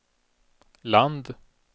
land